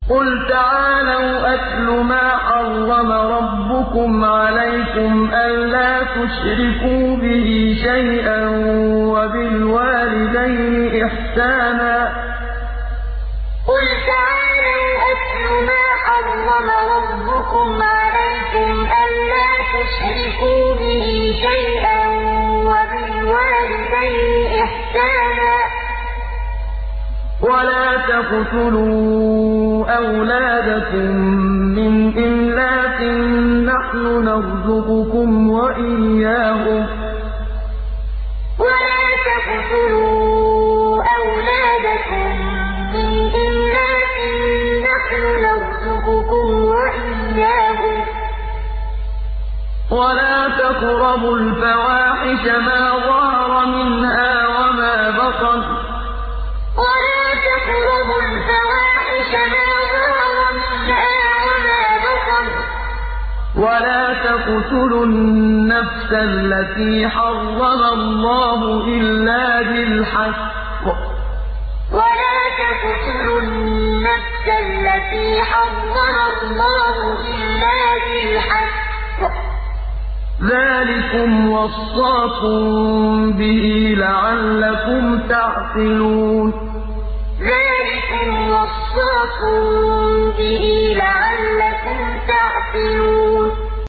۞ قُلْ تَعَالَوْا أَتْلُ مَا حَرَّمَ رَبُّكُمْ عَلَيْكُمْ ۖ أَلَّا تُشْرِكُوا بِهِ شَيْئًا ۖ وَبِالْوَالِدَيْنِ إِحْسَانًا ۖ وَلَا تَقْتُلُوا أَوْلَادَكُم مِّنْ إِمْلَاقٍ ۖ نَّحْنُ نَرْزُقُكُمْ وَإِيَّاهُمْ ۖ وَلَا تَقْرَبُوا الْفَوَاحِشَ مَا ظَهَرَ مِنْهَا وَمَا بَطَنَ ۖ وَلَا تَقْتُلُوا النَّفْسَ الَّتِي حَرَّمَ اللَّهُ إِلَّا بِالْحَقِّ ۚ ذَٰلِكُمْ وَصَّاكُم بِهِ لَعَلَّكُمْ تَعْقِلُونَ ۞ قُلْ تَعَالَوْا أَتْلُ مَا حَرَّمَ رَبُّكُمْ عَلَيْكُمْ ۖ أَلَّا تُشْرِكُوا بِهِ شَيْئًا ۖ وَبِالْوَالِدَيْنِ إِحْسَانًا ۖ وَلَا تَقْتُلُوا أَوْلَادَكُم مِّنْ إِمْلَاقٍ ۖ نَّحْنُ نَرْزُقُكُمْ وَإِيَّاهُمْ ۖ وَلَا تَقْرَبُوا الْفَوَاحِشَ مَا ظَهَرَ مِنْهَا وَمَا بَطَنَ ۖ وَلَا تَقْتُلُوا النَّفْسَ الَّتِي حَرَّمَ اللَّهُ إِلَّا بِالْحَقِّ ۚ ذَٰلِكُمْ وَصَّاكُم بِهِ لَعَلَّكُمْ تَعْقِلُونَ